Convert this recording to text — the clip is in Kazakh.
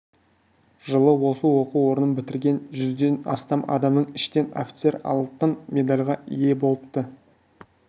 жылы осы оқу орнын бітірген жүзден астам адамның ішінен офицер алтын медальға ие болыпты